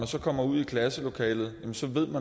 så kommer ud i klasselokalet